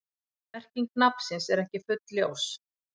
Merking nafnsins er ekki fullljós.